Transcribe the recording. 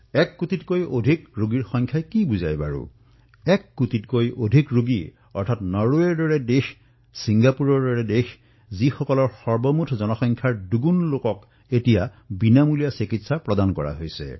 এক কোটিতকৈও অধিক ৰোগীৰ অৰ্থ কি জানে এক কোটিতকৈ অধিক ৰোগী নৰৱেৰ দৰে দেশ ছিংগাপুৰৰ দৰে দেশ তেওঁলোকৰ যি মুঠ জনসংখ্যা আছে তাতকৈ দুগুণ লোকক চিকিৎসা প্ৰদান কৰা হৈছে